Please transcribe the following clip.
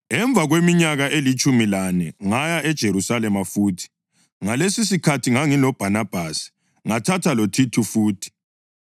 Emva kweminyaka elitshumi lane ngaya eJerusalema futhi, ngalesisikhathi ngangiloBhanabhasi. Ngathatha loThithu futhi.